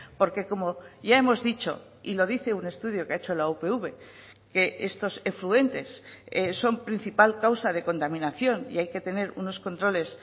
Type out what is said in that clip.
porque como ya hemos dicho y lo dice un estudio que ha hecho la upv que estos efluentes son principal causa de contaminación y hay que tener unos controles